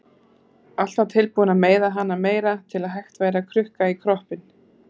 Alltaf tilbúin að meiða hana meira til að hægt væri að krukka í kroppinn.